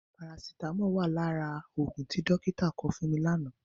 Parasitámọ̀ wà lára òògùn tí dọ́kítà kọ fún mi lánàá.